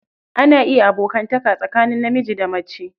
Ana iya abokanta tsakanin namiji da mace.